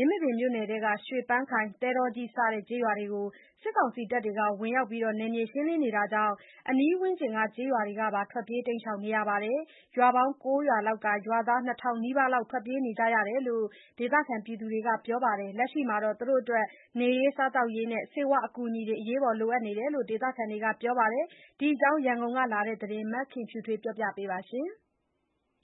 င်းမာပင်မြို့နယ်ထဲက ရွှေပန်းခိုင်၊ သဲတောကြီး စတဲ့ ကျေးရွာတွေကို စစ်ကောင်စီတပ်တွေ ဝင်ရောက်ပြီး နယ်မြေရှင်းနေတာကြောင့် အနီးပတ်ဝန်းကျင်က ကျေးရွာတွေကပါ ထွက်ပြေးနေကြရပါတယ်။ ရွာပေါင်း ၉ ရွာလောက်က ရွာသား ၂,၀၀၀ နီးပါးလောက် ထွက်ပြေးနေကြရတယ်လို့ ဒေသခံတွေက ပြောပါတယ်။ လက်ရှိမှာ နေရေး၊ စားသောက်ရေးနဲ့ ဆေးဝါးအကူအညီတွေ လိုအပ်နေတယ်လို့ ဒေသခံတွေက ပြောကြပါတယ်။ ဒီအကြောင်းရန်ကုန်က လာတဲ့သတင်းကို မခင်ဖြူထွေးက တင်ပြပေးထားပါတယ်။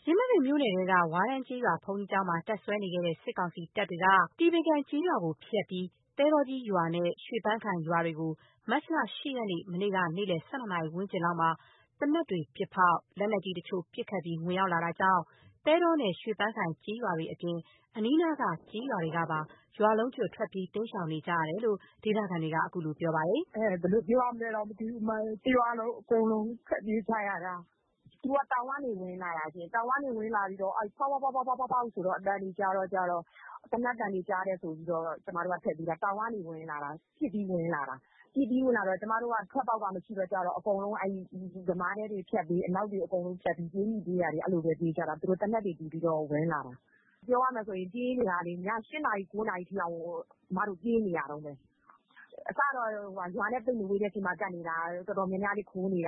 ယင်းမာပင်မြို့နယ်ထဲက ဝါးတန်းကျေးရွာ ဘုန်းကြီးကျောင်းမှာ တပ်စွဲနေခဲ့တဲ့ စစ်ကောင်စီတပ်တွေက တည်ပင်ကန်ကျေးရွာကိုဖြတ်ပြီး သဲတောကြီးရွာနဲ့ ရွှေပန်းခိုင် ရွာတွေကို မေလ ၈ ရက်နေ့ မနေ့က နေ့လည် ၁၂ နာရီဝန်းကျင်လောက်မှာ သေနတ်တွေပစ်ဖောက်၊ လက်နက်ကြီးတချို့ပစ်ခတ်ပြီး ဝင်လာတာကြောင့် သဲတောနဲ့ ရွှေပန်းခိုင်ကျေး ရွာတွေအပြင် အနီးနားက ကျေးရွာတွေကပါ ရွာလုံးကျွတ် ထွက်ပြေးတိမ်းရှောင် နေကြရတယ်လို့ ဒေသခံတွေက ခုလို ပြောပါတယ်။ “ဘယ်လိုပြောရမလဲတောင် မသိဘူး။ တရွာလုံး အကုန်လုံး ထွက်ပြေးကြရတာ။ သူတို့ က တောင်ကနေ ဝင်လာတာရှင့်။ တောင်ကနေ ဝင်လာပြီးတော့ ဖောက်ဖောက်ဖောက် ဆိုတော့ သေနတ်သံတွေ ကြားတယ်ဆိုပြီးတော့ ကျမတို့က ထွက်ပြေးကြတာ။ တောင်ကနေ ဝင်လာတာ။ ပစ်ပြီးဝင်လာတော့ ထွက်ပေါက်ကမရှိတော့ ကျမတို့က အကုန် ယမားတွေက ဖြတ်ပြီး အနောက်တွေ အကုန်ဖြတ်ပြီး ပြေးမိပြေးရာတွေ ပြေးကြတာ။ သူတို့က သေနတ်တွေ ဖောက်ပြီးတော့ ဝင်လာတာ။ ပြောရမယ်ဆိုရင်လေ၊ ည ၈ နာရီ ၉ နာရီထိအောင်ကို ကျမတို့က ပြေးနေရတုန်းပဲ။ အစတုန်းကတော့ ရွာနဲ့ သိပ်မဝေးတဲ့ ဆီမှာ ကပ်နေတာ၊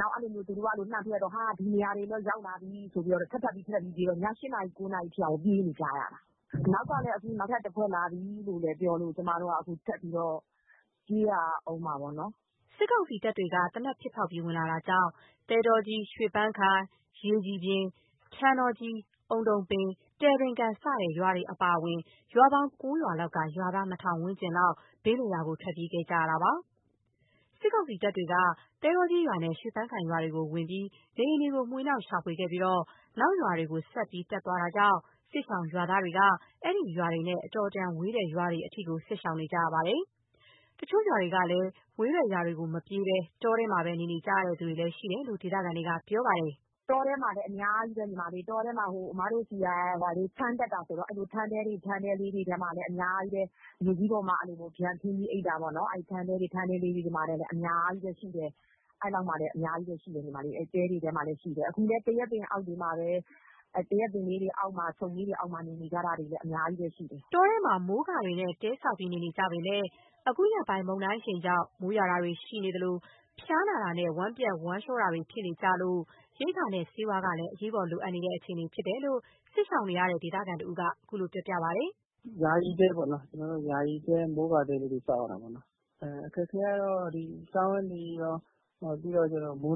နောက် သူတို့က အဲ့နေရာတွေကိုပါ လှမ်းထုတော့ “ဟာ ဒီနေ့ရာတွေကိုတော့ ရောက်လာပြီ”.. ဆိုပြီး ထပ်ထပ်ပြေးတော့ ည ၈ နာရီ၊ ၉ နာရီ ထိအောင်ကို ပြေးနေကြရတာ။ အနောက်ကနေ ခု နောက်ထပ်တဖွဲ့ လာပြီလို့ပြောလို့ ကျမတို့လည်း ခုထပ်ပြီးတော့ ပြေးရအုံးမှာပေါ့နော်။” စစ်ကောင်စီတပ်တွေက သေနတ်ပစ်ဖောက်ပြီး ဝင်လာတာကြောင့် သဲတောကြီး၊ ရွှေပန်းခိုင်၊ ရေကြည်ပြင်၊ ထန်းတောကြီး၊ အုံတုံပင်၊ တယ်ပင်ကန် စတဲ့ ရွာတွေအပါအဝင် ရွာပေါင်း ၉ ရွာလောက်က ရွာသား ၂,၀၀၀ ဝန်းကျင်လောက်က ဘေးလွတ်ရာကို ထွက်ပြေးနေကြရတာပါ။ စစ်ကောင်စီတပ်တွေက သဲတော့ကြီးရွာနဲ့ ရွှေပန်းခိုင်ရွာတွေကို ဝင်ပြီး နေအိမ်တွေကို မွှေနှောက်ရှာဖွေပြီး နောက်ရွာတွေကို ဆက်တက်သွားနေတာကြောင့် စစ်ရှောင် ရွာသားတွေက အဲ့ဒီရွာတွေနဲ့ အတော်အတန်ဝေးတဲ့ ရွာတွေအထိ စစ်ရှောင်နေကြရပါတယ်။ တချို့တွေကလည်း ဝေးတဲ့ရွာတွေကို မပြေးဘဲ တောထဲမှာပဲ နေနေကြရတဲ့ သူတွေလည်းရှိတယ်လို့ ဒေသခံတွေက ပြောပြပါတယ်။ “တောထဲမှာလည်း အများကြီးပဲ။ ကျမတို့ဘက်က ထန်းတက်တာဆိုတော့ ထန်းတဲတွေထဲမှာလည်း အများကြီးပဲ။ မြေကြီးပေါ်မှာ ဖျာခင်းပြီး အိပ်တဲ့သူတွေလည်း အများကြီးပဲ။ ခု သရက်ပင်တွေအောက်မှာ ခြုံတွေအောက်မှာ နေနေကြရတာတွေလည်း အများကြီးပဲရှိတယ်။” တောထဲမှာ မိုးကာတွေနဲ့ တဲဆောက်ပြီး နေနေကြပေမယ့် ခုရက်ပိုင်း မုန်တိုင်းအရှိန်ကြောင့် မိုးရွာတာတွေ ရှိတဲ့အတွက် ဖျားနာတာနဲ့ ဝမ်းပျက်ဝမ်းလျောတာတွေ ဖြစ်နေကြလို ရိက္ခာနဲ့ ဆေးဝါးကလည်း အရေးပေါ်လိုအပ်နေတဲ့ အခြေအနေဖြစ်တယ်လို့ စစ်ရှောင်နေရတဲ့ဒေသခံတဦးက ခုလိုပြောပါတယ်။ “ကျနော်တို့ ယာယီ မိုးကာတဲလေးတွေ ဆောက်နေရတာပေါ့နှော်။ အခက်အခဲကတော့ စားဝတ်နေရေးရော၊ မိုးတွ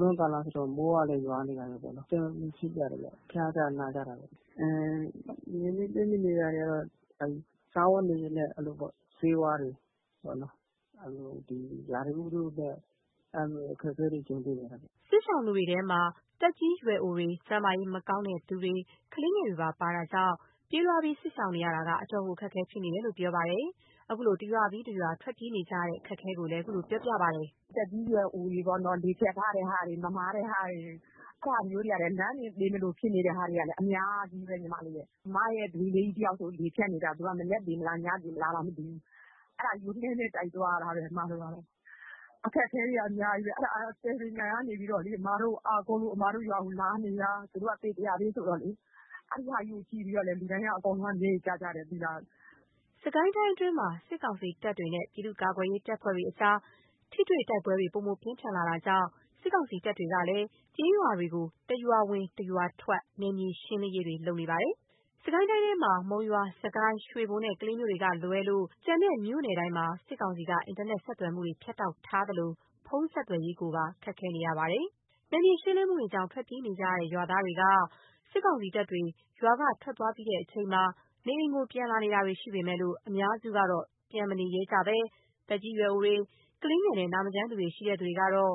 င်းကာလလည်းရောက်တော့မယ်ဆိုတော့ မိုးရွာတာကရော။ အဆင်မပြေဖြစ်ကြတယ်ဗျ၊ ဖျားကြနာကြတာပေါ့။ ခုလိုအပ်နေတာကတော့ စားဝတ်နေရေးနဲ့ ဆေးဝါးတွေ၊ အခုက ရာသီဥတုနဲ့ အခက်အခဲတွေ ကြုံနေရတာပေါ့။” စစ်ရှောင်တွေထဲမှာ သက်ကြီးရွယ်အိုတွေ၊ ကျန်းမာရေးမကောင်းသူတွေ၊ ကလေးငယ်တွေပါ ပါတာကြောင့် ပြေးလွားပြီး စစ်ရှောင်နေရတာက အတော်ကို အခက်အခဲဖြစ်နေကြတယ်လို့ဆိုပါတယ်။ ခုလို တရွာပြီးတရွာ ထွက်ပြေးနေကြတဲ့ အခက်အခဲကို ခုလိုပြောပါတယ်။ “သက်ကြီးရွယ်အိုတွေ၊ လေဖြတ်ထားတဲ့သူတွေ၊ မမာတဲ့သူတွေ၊ လမ်းတင် သေမလိုဖြစ်နေတဲ့သူတွေကလည်း အများကြီးပဲ။ ကျမရဲ့ ဒွေးလေးတယောက်ဆို လေဖြတ်နေတာ။ မနက်သေမလား၊ ညသေမလားတောင်မသိဘူး။ အဲ့ဒါကို လှည်းနဲ့တိုက်သွားရတာပဲ။ အခက်အခဲက အများကြီးပဲ။ အဲ့ဒါက တယ်ပင်ကန်ကနေပြီးတော့လေ ကျမတို့ကို အားကိုးပြီး ကျမတို့ရွာမှာ လာနေတာ၊ သူတို့က ပေတရာ ဘေးဆိုတော့လေ။ အဲ့ဒါကို ကြည့်ပြီးတော့လေ လူတိုင်းက အကုန်လုံး မျက်ရည်ကျကြတယ် သိလား။” စစ်ကိုင်းတိုင်းအတွင်းမှာ စစ်ကောင်စီတပ်တွေနဲ့ ပြည့်သူ့ကာကွယ်ရေး တပ်ဖွဲ့တွေကြား ထိတွေတိုက်ပွဲတွေ ပိုမိုပြင်းထန်လာနေတာကြောင့် စစ်ကောင်စီတပ်တွေကလည်း ကျေးရွာတွေကို တရွာဝင်တရွာထွက် နယ်မြေရှင်းလင်းရေးတွေ လုပ်နေပါတယ်။ စစ်ကိုင်းတိုင်းထဲမှာ မုံရွာ၊ စစ်ကိုင်း၊ ရွှေဘိုနဲ့ ကလေးမြို့ကလွဲလို့ ကျန်တဲ့ မြို့နယ်တိုင်းမှာ စစ်ကောင်စီက အင်တာနက် ဆက်သွယ်မှုတွေ ဖြတ်တောက်ထားသလို ဖုန်းဆက်သွယ်ရေးတွေပါ ခက်ခဲနေကြရပါတယ်။ နယ်မြေရှင်းလင်းမှုတွေကြောင့် ထွက်ပြေးနေကြရတဲ့ ရွာတွေက ရွာသားတွေက စစ်ကောင်စီတပ်တွေ ရွာကထွက်သွားပြီးချိန်မှာ နေအိမ်ကိုပြန်လာနေတာတွေ ရှိပေမယ့် အများစုကတော့ပြန်မနေရဲကြသေးဘဲ သက်ကြီးရွယ်အို၊ ကလေးငယ်နဲ့ နာမကျန်းသူတွေရှိတဲ့သူတွေကတော့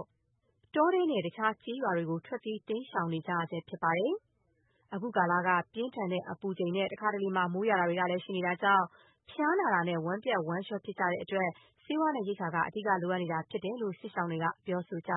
တောထဲနဲ့ တခြားရွာတွေကို ထွက်ပြေးတိမ်ရှောင်နေကြရဆဲဖြစ်ပါတယ်။ အခုကာလက ပြင်းထန်တဲ့အပူချိန်နဲ့ တခါတလေ မိုးရွာတာတွေ ရှိတာကြောင့် ဖျားနာတာနဲ့ ဝမ်းပျက်ဝမ်းလျှောတွေ ဖြစ်ကြတဲ့အတွက် ဆေးဝါးနဲ့ ရိက္ခာက အဓိက လိုအပ်နေတယ်လို့ စစ်ရှောင်တွေက ပြောကြပါ